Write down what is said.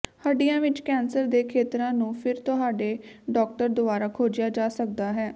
ਹੱਡੀਆਂ ਵਿੱਚ ਕੈਂਸਰ ਦੇ ਖੇਤਰਾਂ ਨੂੰ ਫਿਰ ਤੁਹਾਡੇ ਡਾਕਟਰ ਦੁਆਰਾ ਖੋਜਿਆ ਜਾ ਸਕਦਾ ਹੈ